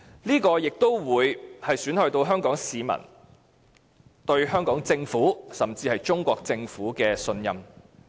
這更會損害香港市民對香港政府甚至中國政府的信任。